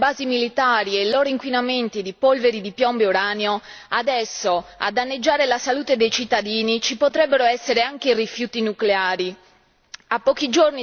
Dopo averci imposto le basi militari e i loro inquinamenti di polvere di piombo e uranio, adesso, a danneggiare la salute dei cittadini, ci potrebbero essere anche i rifiuti nucleari.